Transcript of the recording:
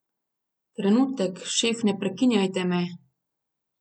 Trenutek, šef, ne prekinjajte me!